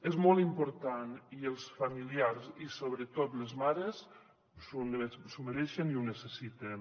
és molt important i els familiars i sobretot les mares s’ho mereixen i ho necessiten